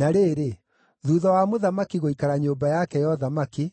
Na rĩrĩ, thuutha wa mũthamaki gũikara nyũmba yake ya ũthamaki,